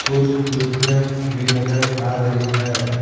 कुछ कुर्सियाँ भी नजर आ रही हैं।